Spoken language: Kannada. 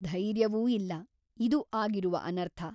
ಧೈರ್ಯವೂ ಇಲ್ಲ ಇದು ಆಗಿರುವ ಅನರ್ಥ.